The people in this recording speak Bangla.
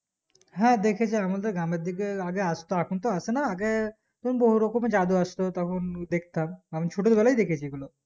হ্যাঁ দেখেছি আমাদের গ্রামের দিকে আগে আস্ত এখন তো আসে না আগে তখন বহু রকমের জাদু আস্ত তখন দেখতাম ছোটো বেলায় দেখেছি এগুলো